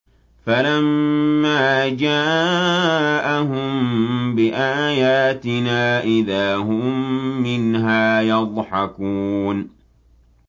فَلَمَّا جَاءَهُم بِآيَاتِنَا إِذَا هُم مِّنْهَا يَضْحَكُونَ